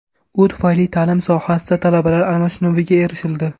U tufayli ta’lim sohasida talabalar almashinuviga erishildi.